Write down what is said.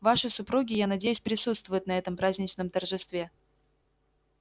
ваши супруги я надеюсь присутствуют на этом праздничном торжестве